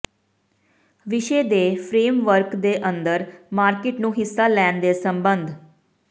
ਵਿਸ਼ੇ ਦੇ ਫਰੇਮਵਰਕ ਦੇ ਅੰਦਰ ਮਾਰਕੀਟ ਨੂੰ ਹਿੱਸਾ ਲੈਣ ਦੇ ਸਬੰਧ